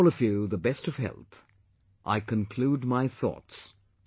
Wishing all of you the best of health, I conclude my thoughts